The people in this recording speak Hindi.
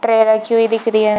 ट्रे रखी हुई दिख रही है।